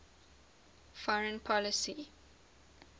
foreign policy